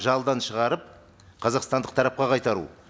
жалдан шығарып қазақстандық тарапқа қайтару